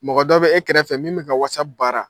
Mɔgɔ dɔ bɛ e kɛrɛfɛ min bɛ ka Whatsapp baara